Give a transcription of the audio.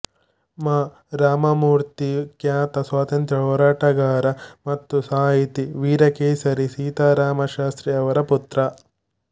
ಮಾ ರಾಮಮೂರ್ತಿ ಖ್ಯಾತ ಸ್ವಾತಂತ್ರ್ಯ ಹೋರಾಟಗಾರ ಮತ್ತು ಸಾಹಿತಿ ವೀರಕೇಶರಿ ಸೀತಾರಾಮ ಶಾಸ್ತ್ರಿ ಅವರ ಪುತ್ರ